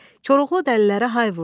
Koroğlu dəlilərə hay vurdu.